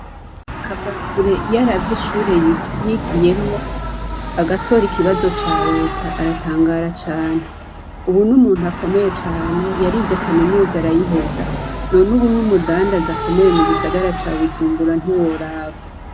Kavakure iyaravye ishure yigiyemwo agatora ikibazo ca Leta aratangara cane. Ubu n'umuntu akomeye cane, yarize Kaminuza arayiheza. None ubu n'umundaza akomeye mu gisagara ca Bujumbura ntiworaba.